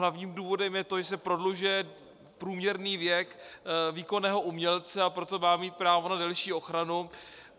Hlavním důvodem je to, že se prodlužuje průměrný věk výkonného umělce, a proto má mít právo na delší ochranu.